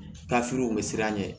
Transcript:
Taafiriw bɛ siran ɲɛ